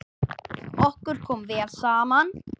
Okkur kom vel saman.